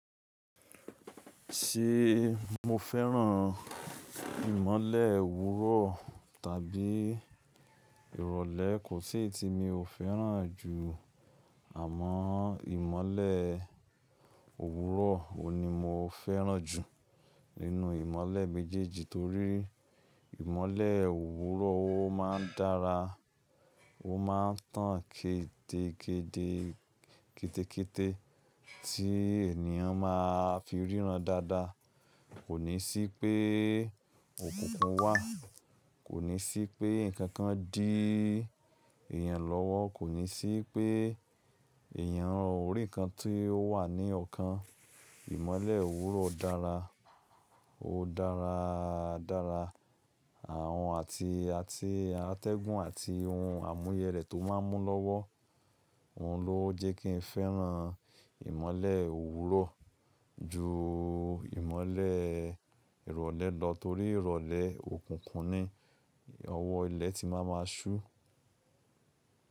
Ṣé mo fẹ́ràn ìmọ́lẹ̀ òwúrọ̀ tàbí ìrọ̀lẹ́? Kò sí eyi ti mi ò fẹ́ràn jù, àmọ́ ìmọ́lẹ̀ òwúrọ̀ ò ní mo fẹ́ràn jù nínú ìmọ́lẹ̀ méjèèjì torí ìmọ́lẹ̀ òwúrọ̀ ó máa ń dára, ó máa ń tàn kédekéde kẹ́tẹ́kẹ́tẹ́ tí ènìyàn ma fi ríran dáadáa. Kò ní sí pé òkùnkùn wà, kò ní sí pé nǹkan kan dí èèyàn lọ́wọ́, kò ní sí pé èèyàn orí kan tí ó wà ní ọ̀kan. Ìmọ́lẹ̀ òwúrọ̀ dára, ó dára dára, àwọn àti àti atẹ́gùn àti ohun àmúyẹrẹ tó máa ń mú lọ́wọ́. Òhun ló jẹ́ kí n fẹ́ràn ìmọ́lẹ̀ òwúrọ̀ ju ìmọ́lẹ̀ ìrọ̀lẹ́ lọ torí ìrọ̀lẹ́ òkùnkùn ni, ọwọ́ ilẹ̀ ti máa ma ṣú.